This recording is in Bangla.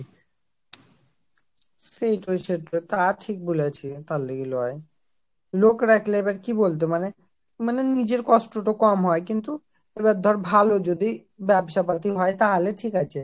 সেইটোই সেইটোই তা ঠিক বলেছিস তার লাইগা লয় লোক রাখলে তার কি বলতো মানে নিজের কষ্ট টা কম হয় কিন্তু আবার ধর ভালো যদি ব্যবসা পাতি হয় তাহলে ঠিক আছে